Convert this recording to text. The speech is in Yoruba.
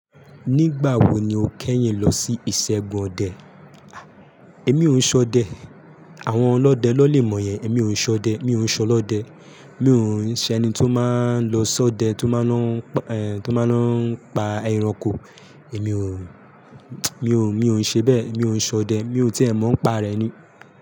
Nígbà wo ni o kẹ́yìn lọ sí ìṣẹ́gun ọdẹ? Èmi ò ún ṣọdẹ. Àwọn ọlọ́dẹ ló lè mọ yẹn. Èmi ò ún ṣọdẹ. Mi ò ún ṣọlọ́dẹ. Mi ò ún ṣe ẹni tó máa ń lọ ṣọdẹ, tó máa ń lọ, tó máa ń lọ pa ẹranko. Èmi ò, mi ò, mi ò ń ṣe bẹ́ẹ̀. Mi ò ún ṣọdẹ. Mi ò ti ẹ mọ̀ ọ́n pa rẹ̀ ni.